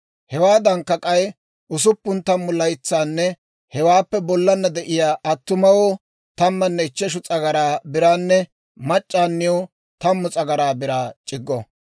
Hewaadankka k'ay usuppun tammu laytsanne hewaappe bollana de'iyaa attumawoo tammanne ichcheshu s'agaraa biraanne mac'c'aaniw tammu s'agaraa biraa c'iggo.